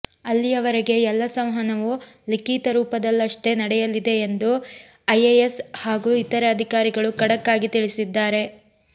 ಅಲ್ಲಿಯವರೆಗೆ ಎಲ್ಲ ಸಂವಹನವೂ ಲಿಖೀತ ರೂಪದಲ್ಲಷ್ಟೇ ನಡೆಯಲಿದೆ ಎಂದು ಐಎಎಸ್ ಹಾಗೂ ಇತರೆ ಅಧಿಕಾರಿಗಳು ಖಡಕ್ಕಾಗಿ ತಿಳಿಸಿದ್ದಾರೆ